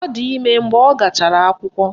Ọ di ime mgbe ọ gachara akwụkwọ